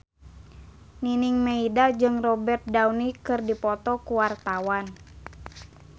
Nining Meida jeung Robert Downey keur dipoto ku wartawan